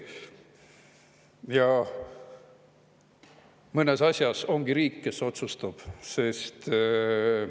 Ja mõnes asjas ongi riik see, kes otsustab.